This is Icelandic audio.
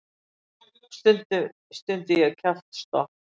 Ó, stundi ég kjaftstopp.